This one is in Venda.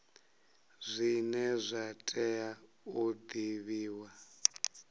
zwine zwa tea u divhiwa